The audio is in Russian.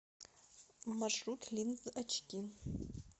маршрут линзочки